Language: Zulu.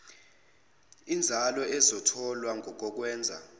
inzalo ezotholwa kokokwenza